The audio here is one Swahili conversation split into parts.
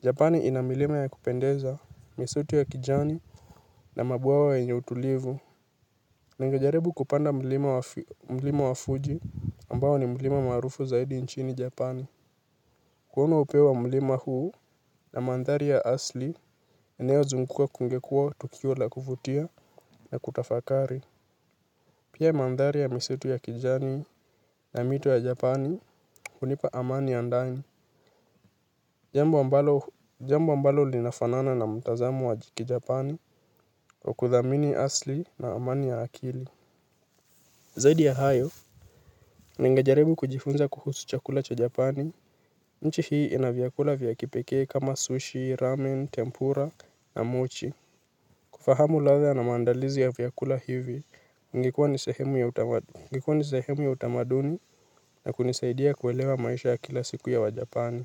Japani ina milima ya kupendeza misitu ya kijani na mabwawa yenye utulivu. Ningejaribu kupanda mlima wa Fuji ambao ni mlima maarufu zaidi nchini Japani. Kuona upeo wa milima huu na mandhari ya asli yanayozungukwa kungekuwa tukio la kuvutia na kutafakari. Pia mandhari ya misitu ya kijani na mito ya Japani hunipa amani andani. Jambo ambalo linafanana na mtazamo wa kijapani wa kuthamini asli na amani ya akili. Zaidi ya hayo, ningejaribu kujifunza kuhusu chakula cha Japani. Nchi hii inavyakula vya kipekee kama sushi, ramen, tempura na mochi. Kufahamu ladha na maandalizi ya vyakula hivi, ingekuwa ni sehemu ya utamaduni na kunisaidia kuelewa maisha ya kila siku ya wajapani.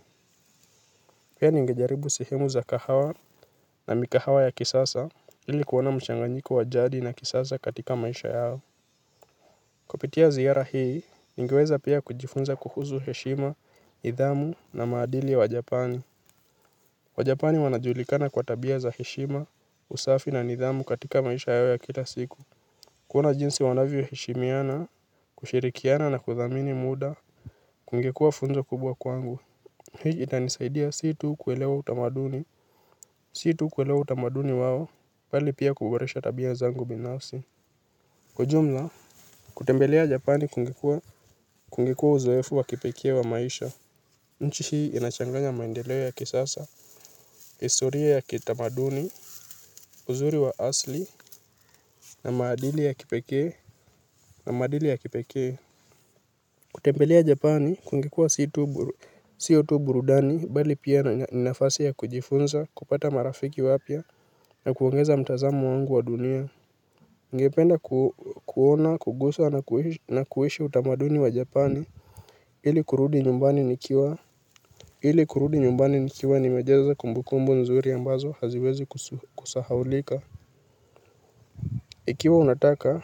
Pia ningejaribu sihemu za kahawa na mikahawa ya kisasa, ili kuona michanganyiko wa jadi na kisasa katika maisha yao. Kupitia zihara hii, ningeweza pia kujifunza kuhusu heshima, nidhamu na maadili wa japani. Wajapani wanajulikana kwa tabia za heshima, usafi na nidhamu katika maisha yao ya kila siku. Kuona jinsi wanavyo heshimiana, kushirikiana na kuthamini muda, kungekuwa funzo kubwa kwangu. Hii itanisaidia si tu kuelewa utamaduni si tu kuelewa utamaduni wao bali pia kuboresha tabia zangu binafsi. Kwa jumla, kutembelea japani kungekuwa uzoefu wa kipekee wa maisha. Nchi hii inachanganya maendeleo ya kisasa, historia ya kitamaduni, uzuri wa asli, na maadili ya kipekee, na maadili ya kipekee. Kutembelea japani kungekuwa sio tu burudani bali pia ni nafasi ya kujifunza kupata marafiki wapya na kuongeza mtazamo wangu wa dunia. Ningependa kuona kuguza na kuhisi utamaduni wa japani ili kurudi nyumbani nikiwa hili kurudi nyumbani nikiwa nimejaza kumbukumbu nzuri ambazo haziwezi kusahaulika. Ikiwa unataka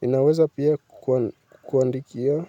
ninaweza pia kukuandikia kwa hivyo.